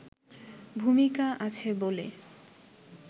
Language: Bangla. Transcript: ভূমিকা আছে বলে